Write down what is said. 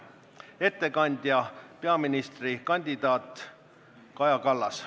Ettekandja on peaministrikandidaat Kaja Kallas.